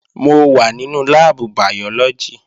Mò wà nínú láàbù bàyọ́lọ́gì